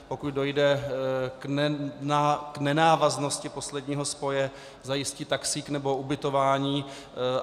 Pokud dojde k nenávaznosti posledního spoje, zajistí taxík nebo ubytování.